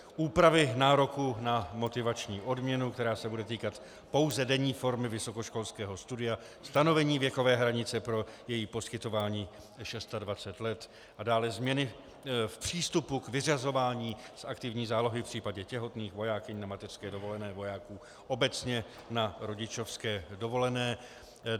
Úpravy nároků na motivační odměnu, která se bude týkat pouze denní formy vysokoškolského studia, stanovení věkové hranice pro její poskytování 26 let a dále změny v přístupu k vyřazování z aktivní zálohy v případě těhotných vojákyň na mateřské dovolené, vojáků obecně na rodičovské dovolené.